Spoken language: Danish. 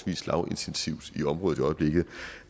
lavintensivt i området i øjeblikket